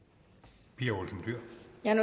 jeg